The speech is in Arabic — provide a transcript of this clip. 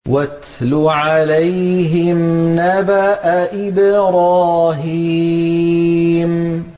وَاتْلُ عَلَيْهِمْ نَبَأَ إِبْرَاهِيمَ